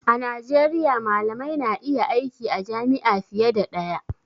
A Najeriya malamai na iya aiki a jami'a fiye da ɗaya